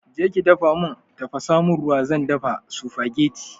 Je ki dafa mun tafasa mun ruwa zan dafa supagetti